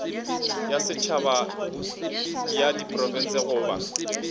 ya setšhaba ya diprofense goba